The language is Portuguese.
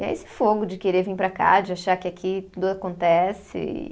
E é esse fogo de querer vir para cá, de achar que aqui tudo acontece. E